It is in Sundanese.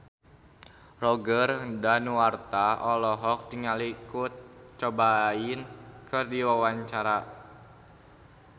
Roger Danuarta olohok ningali Kurt Cobain keur diwawancara